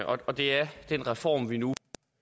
og det er den reform vi nu